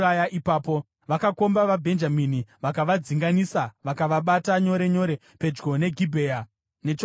Vakakomba vaBhenjamini, vakavadzinganisa vakavabata nyore nyore pedyo neGibhea nechokumabvazuva.